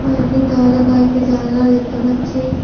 বাড়িটির দেওয়ালে কয়েকটি জানলা দেখতে পাচ্ছি।